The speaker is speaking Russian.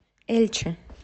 эльче